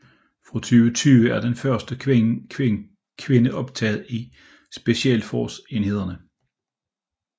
Fra 2020 er den første kvinde optaget i Special Forces enheder